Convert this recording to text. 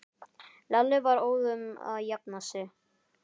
Lalli var óðum að jafna sig.